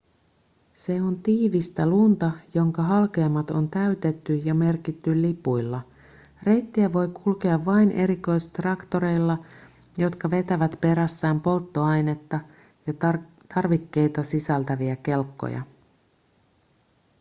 se on tiivistä lunta jonka halkeamat on täytetty ja merkitty lipuilla reittiä voi kulkea vain erikoistraktoreilla jotka vetävät perässään polttoainetta ja tarvikkeita sisältäviä kelkkoja